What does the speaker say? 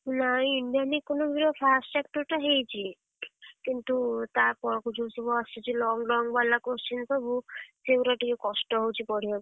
ନାଇଁ Indian Economic ର first chapter ଟା ହେଇଚି, କିନ୍ତୁ ତାପରକୁ ଯୋଉ ସବୁ ଆସୁଚି long long ବାଲା question ସବୁ ସେଇଗୁଡାକ ଟିକେ କଷ୍ଟ ହଉଚି ପଢିଆକୁ।